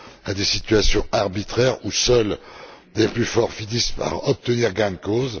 à des situations arbitraires où seuls les plus forts finissent par obtenir gain de cause.